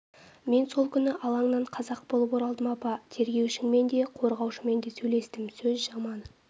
мен сол күні алаңнан қазақ болып оралдым апа тергеушіңмен де қорғаушымен де сөйлестім сөз жаман